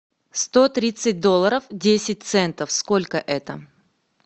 сто тридцать долларов десять центов сколько это